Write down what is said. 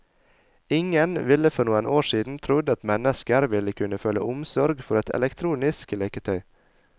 Ingen ville for noen år siden trodd at mennesker ville kunne føle omsorg for et elektronisk leketøy.